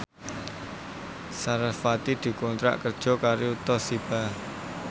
sarasvati dikontrak kerja karo Toshiba